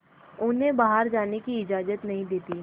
उन्हें बाहर जाने की इजाज़त नहीं देती है